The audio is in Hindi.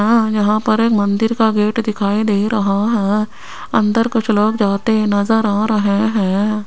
यें यहां पर एक मंदिर का गेट दिखाई दे रहा है अन्दर कुछ लोग जाते नजर आ रहे है।